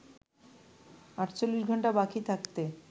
৪৮ ঘন্টা বাকি থাকতে